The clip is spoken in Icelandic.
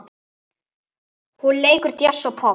Hún leikur djass og popp.